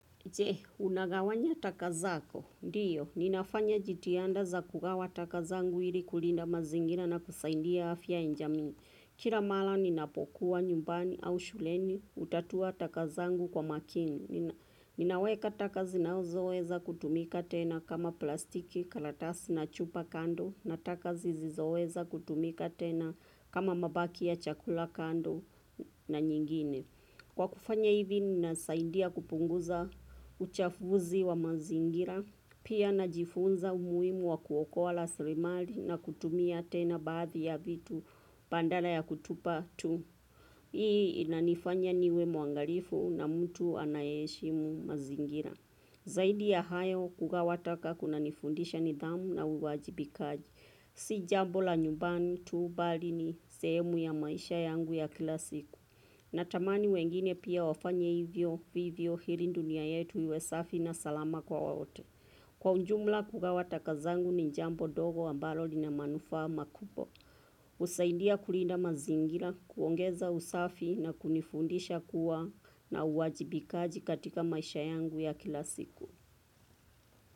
Je, unagawanya taka zako? Ndiyo, ninafanya jitihada za kukawa taka zangu ili kulinda mazingira na kusaidia afya ya jamii. Kila mara ninapokuwa nyumbani au shuleni, hutatua taka zangu kwa makini. Ninaweka taka zinazoweza kutumika tena kama plastiki, karatasi na chupa kando, na taka zisizoweza kutumika tena kama mabaki ya chakula kando na nyingine. Kwa kufanya hivi ninasaidia kupunguza uchafuzi wa mazingira, pia najifunza umuhimu wa kuokola raslimali na kutumia tena baadhi ya vitu badala ya kutupa tu. Hii inanifanya niwe mwangalifu na mtu anayeshimu mazingira. Zaidi ya hayo kugawa taka kunanifundisha nidhamu na uwajibikaji. Si jambo la nyumbani tu bali ni sehemu ya maisha yangu ya kila siku. Natamani wengine pia wafanye hivyo vivyo ili dunia yetu iwe safi na salama kwa wote. Kwa ujumla, kugawa taka zangu ni jambo ndogo ambalo lina manufaa makubwa. Husaidia kulinda mazingira, kuongeza usafi na kunifundisha kuwa na uwajibikaji katika maisha yangu ya kila siku.